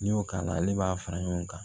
N'i y'o k'a la ale b'a fara ɲɔgɔn kan